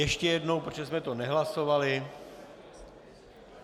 Ještě jednou, protože jsme to nehlasovali.